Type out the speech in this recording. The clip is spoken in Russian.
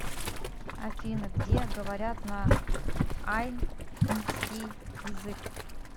афина где говорят на айнский язык